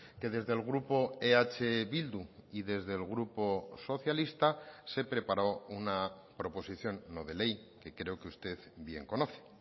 que desde el grupo eh bildu y desde el grupo socialista se preparó una proposición no de ley que creo que usted bien conoce